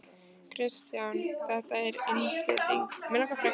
Kristján: Þetta er innspýting?